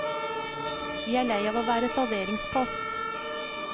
Vi er lei av å være salderingspost.